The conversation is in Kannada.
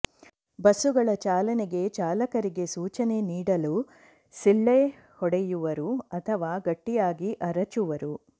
ಬಸ್ಸುಗಳ ಚಾಲನೆಗೆ ಚಾಲಕರಿಗೆ ಸೂಚನೆ ನೀಡಲು ಸಿಳ್ಳೆ ಹೊಡೆಯುವರು ಅಥವಾ ಗಟ್ಟಿಯಾಗಿ ಅರಚುವರು